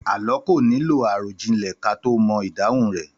Àlọ́ kò nílò àròjinlẹ̀ ká tó mo ìdáhun rẹ̀.